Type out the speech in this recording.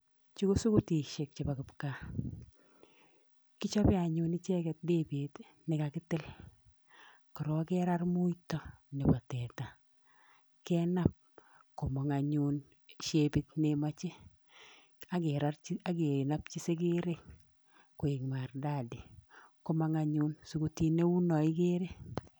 Chu ko sukutishek chebo kipgaa kichobe anyun ichegek debet ne kakitil korok kerar muito nebo teta kenab komong anyun shapit ne imoje akinapji segerek koek maridadi komong anyun sukutit kou no igere.